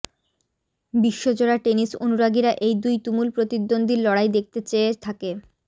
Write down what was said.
বিশ্বজোড়া tennis অনুরাগীরা এই দুই তুমুল প্রতিদ্বন্দ্বীর লড়াই দেখতে চেয়ে থাকে